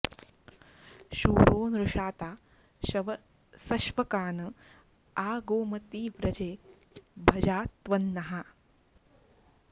शूरो॒ नृषा॑ता॒ शव॑सश्वका॒न आ गोम॑ति व्र॒जे भ॑जा॒ त्वन्नः॑